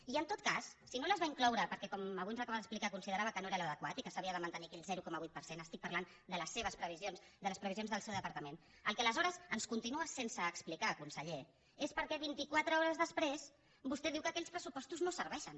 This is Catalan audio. i en tot cas si no les va incloure perquè com avui ens acaba d’explicar considerava que no era l’adequat i que s’havia de mantenir aquell zero coma vuit per cent estic parlant de les seves previsions de les previsions del seu departament el que aleshores ens continua sense explicar conseller és per què vint i quatre hores després vostè diu que aquells pressupostos no serveixen